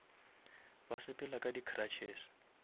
ba sepela ka di cruches